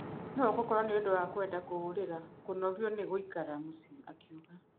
No gũkorwo nĩũndũ wa kwenda kũũrĩra kũnogio nĩ gũikara mũciĩ,'' akiuga.